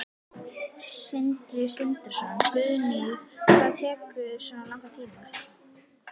Sindri Sindrason: Guðrún, hvað tekur svona langan tíma?